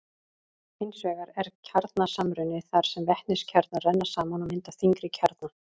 Hins vegar er kjarnasamruni þar sem vetniskjarnar renna saman og mynda þyngri kjarna.